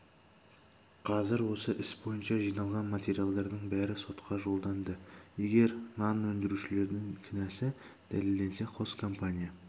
қазір осы іс бойынша жиналған материалдардың бәрі сотқа жолданды егер нан өндірушілердің кінәсі дәлелденсе қос компания